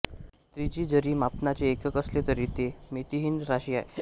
त्रिज्यी जरी मापनाचे एकक असले तरी ते मितिहीन राशी आहे